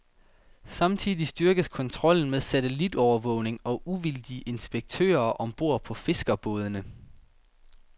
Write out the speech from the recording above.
Samtidig styrkes kontrollen med satellitovervågning og uvildige inspektører om bord på fiskerbådene.